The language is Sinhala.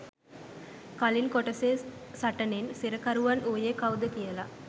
කලින් කොටසේ සටනෙන් සිරකරුවන් වුයේ කවුද කියල